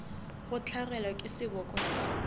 go hlagelwa ke seboko sa